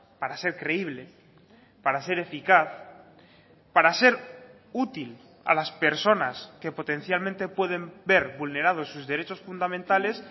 para ser creíble para ser eficaz para ser útil a las personas que potencialmente pueden ver vulnerados sus derechos fundamentales